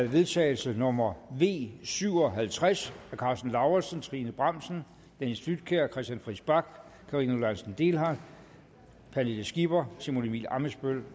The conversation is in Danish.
vedtagelse nummer v syv og halvtreds af karsten lauritzen trine bramsen dennis flydtkjær christian friis bach karina lorentzen dehnhardt pernille skipper simon emil ammitzbøll